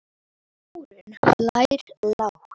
Þórunn hlær lágt.